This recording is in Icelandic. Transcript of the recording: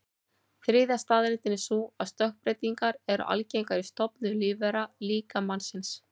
Þriðja staðreyndin er sú að stökkbreytingar eru algengar í stofnum lífvera, líka mannsins.